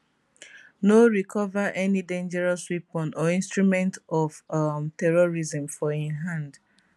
no recover any dangerous weapon or instrument of um terrorism for im hand